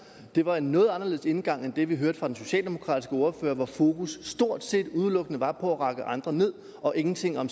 det var en noget anderledes indgang end det vi hørte fra den socialdemokratiske ordførers side hvor fokus stort set udelukkende var på at rakke andre ned og ingenting om